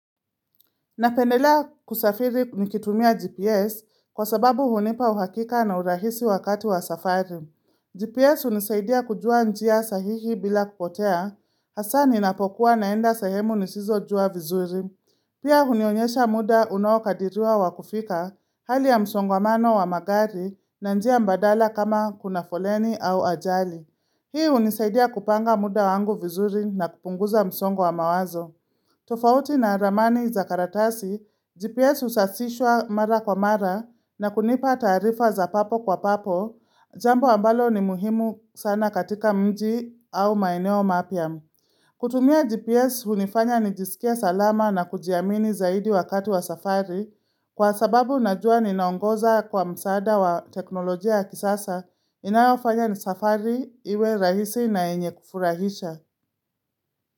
Napendelea kusafiri nikitumia GPS kwa sababu hunipa uhakika na urahisi wakati wa safari. GPS hunisaidia kujua njia sahihi bila kupotea, hasa ninapokuwa naenda sehemu nisizojua vizuri. Pia hunionyesha muda unaokadiriwa wa kufika, hali ya msongamano wa magari na njia mbadala kama kuna foleni au ajali. Hii unisaidia kupanga muda wangu vizuri na kupunguza msongwa mawazo. Tofauti na ramani za karatasi, GPS husasishwa mara kwa mara na kunipa taarifa za papo kwa papo, jambo ambalo ni muhimu sana katika mji au maeneo mapya. Kutumia GPS hunifanya nijisikie salama na kujiamini zaidi wakati wa safari kwa sababu najua ninaongoza kwa msaada wa teknolojia ya kisasa inayofanya ni safari iwe rahisi na yenye kufurahisha.